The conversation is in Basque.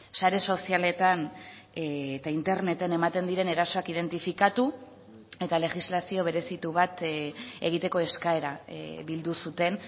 sare sozialetan eta interneten ematen diren erasoak identifikatu eta legislazio berezitu bat egiteko eskaera bildu zuten